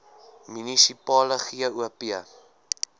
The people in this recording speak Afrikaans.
munisipale gop